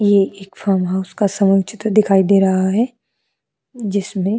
ये एक farmhouse का समूह चित्र दिखाई दे रहा है जिसमें।